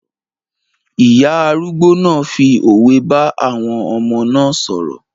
Ìyá arúgbó náà fi òwe bá àwọn ọmọ náà sọ̀rọ̀